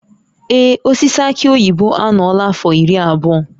Ee, osisi aki oyibo a anọọla afọ iri abụọ